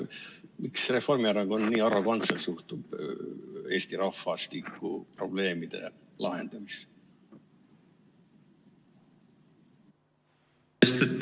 Miks Reformierakond nii arrogantselt suhtub Eesti rahvastikuprobleemide lahendamisse?